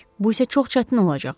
Bu isə çox çətin olacaq.